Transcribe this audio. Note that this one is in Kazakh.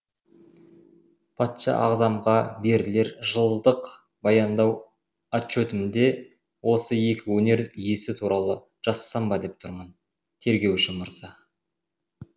патша ағзамға берілер жылдық баяндау отчетімде осы екі өнер иесі туралы жазсам ба деп тұрмын тергеуші мырза